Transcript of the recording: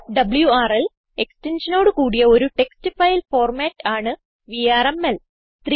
wrl എക്സ്റ്റൻഷനോട് കൂടിയ ഒരു ടെക്സ്റ്റ് ഫയൽ ഫോർമാറ്റ് ആണ് വിആർഎംഎൽ